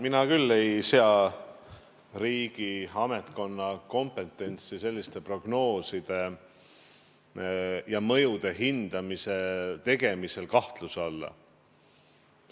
Mina küll ei sea ametkonna kompetentsi selliste prognooside ja mõjude hindamise tegemisel kahtluse alla.